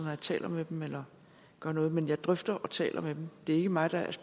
jeg taler med dem eller gør noget men jeg drøfter og taler med dem det er ikke mig der